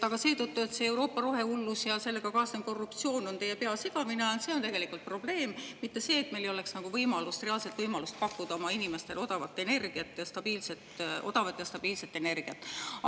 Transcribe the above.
Aga see, et Euroopa rohehullus ja sellega kaasnev korruptsioon on teie pea segamini ajanud, on tegelikult probleem, mitte see, et meil ei oleks reaalset võimalust pakkuda oma inimestele odavat ja stabiilset energiat.